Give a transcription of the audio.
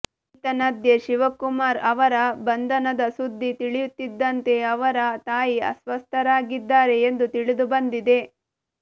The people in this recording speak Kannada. ಈತನ್ಯಧ್ಯೆ ಶಿವಕುಮಾರ್ ಅವರ ಬಂಧನದ ಸುದ್ದಿ ತಿಳಿಯುತ್ತಿದ್ದಂತೆ ಅವರ ತಾಯಿ ಅಸ್ವಸ್ಥರಾಗಿದ್ದಾರೆ ಎಂದು ತಿಳಿದುಬಂದಿದೆ